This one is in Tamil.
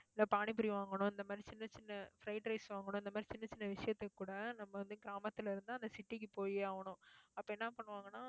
இல்ல பானிபூரி வாங்கணும் இந்த மாதிரி சின்ன சின்ன fried rice வாங்கணும், இந்த மாதிரி சின்னச் சின்ன விஷயத்துக்கு கூட, நம்ம வந்து கிராமத்துல இருந்து, அந்த city க்கு போயே ஆகணும் அப்ப என்ன பண்ணுவாங்கன்னா